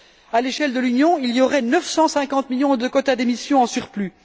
À l'échelle de l'Union, il y aurait 950 millions de quotas d'émission en surplus